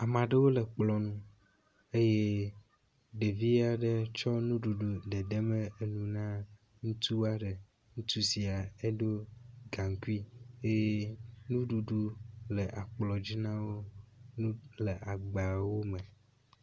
Ame aɖewo le ekplɔ nu eye ɖevi aɖe tsɔ nuɖuɖu dedem enu na ŋutsua ɖe. Ŋutsu sia edo gaŋkui eye nuɖuɖu le akplɔ dzi na wo. Nu le agbawo me.